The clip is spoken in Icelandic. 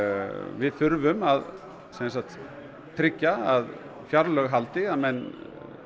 við þurfum að tryggja að fjárlög haldi að menn